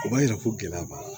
O b'a yira ko gɛlɛya b'a la